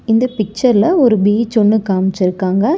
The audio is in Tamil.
இந்த பிச்சர்ல ஒரு பீச் ஒன்னு காமிச்சிருக்காங்க.